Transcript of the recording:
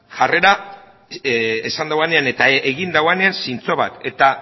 jarrera esan duenean eta egin duenean zintzo bat eta